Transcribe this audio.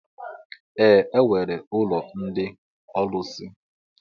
Ee, e nwere ụlọ ndị ọlusi